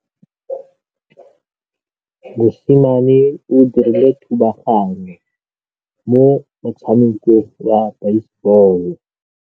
Mosimane o dirile thubaganyô mo motshamekong wa basebôlô.